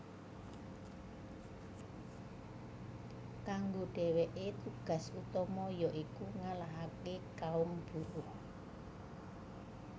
Kanggo dèwèké tugas utama ya iku ngalahaké kaum buruh